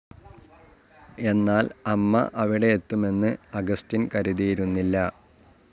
എന്നാൽ അമ്മ അവിടെ എത്തുമെന്ന് അഗസ്റ്റിൻ കരുതിയിരുന്നില്ല.